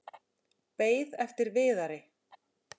Beið eftir Viðari.